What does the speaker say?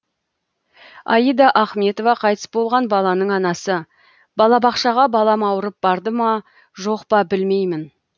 аида ахметова қайтыс болған баланың анасы балабақшаға балам ауырып барды ма жоқ па білмеймін